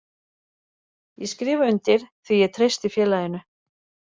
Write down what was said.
Ég skrifa undir því ég treysti félaginu.